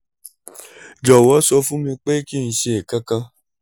jọ̀wọ́ sọ fún mi pé kí n ṣe nǹkan kan